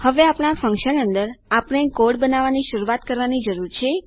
હવે આપણા ફન્કશન અંદર આપણે કોડ બનાવવાની શરૂઆત કરવાની જરૂર છે